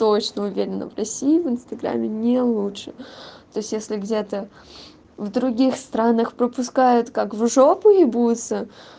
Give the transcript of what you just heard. точно уверена в россии в инстаграмме не лучше то есть если где-то в других странах пропускают как в жопу ебутся